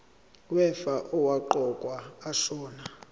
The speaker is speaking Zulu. wefa owaqokwa ashona